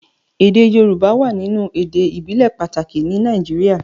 èdè yorùbá wá nínú èdè ibile pàtàkì ní Nàìjíríà.